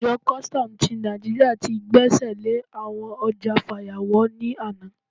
Àjọ kùstọ̀m ti Naijiria ti gbẹ́sẹ̀ lé àwọn ọjà fàyàwọ́ ní àná.